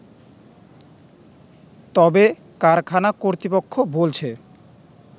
তবে কারখানা কর্তৃপক্ষ বলছে